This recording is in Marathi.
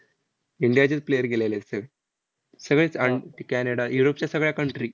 इंडियाचेच player गेलेले सगळे. सगळेच अन कॅनडा, युरोपच्या सगळ्या country